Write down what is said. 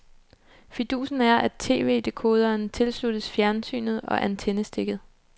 Fidusen er, at tv-dekoderen tilsluttes fjernsynet og antennestikket.